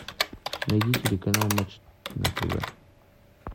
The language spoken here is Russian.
найди телеканал матч на тв